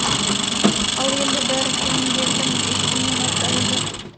ал енді бәрі кемеңгердің есімімен атайды